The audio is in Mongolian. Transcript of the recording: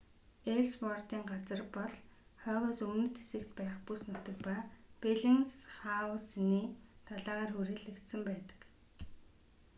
элссвордын газар бол хойгоос өмнөд хэсэгт байх бүс нутаг ба беллинсхаусены далайгаар хүрээлэгдсэн байдаг